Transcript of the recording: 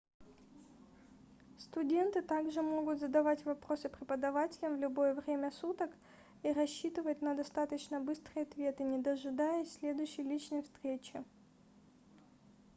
студенты также могут задавать вопросы преподавателям в любое время суток и рассчитывать на достаточно быстрые ответы не дожидаясь следующей личной встречи